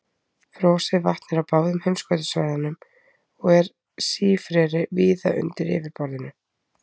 Frosið vatn er á báðum heimskautasvæðunum og er sífreri víða undir yfirborðinu.